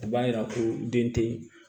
O b'a yira ko den tɛ